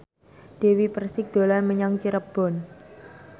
Dewi Persik dolan menyang Cirebon